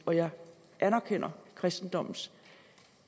og jeg anerkender kristendommens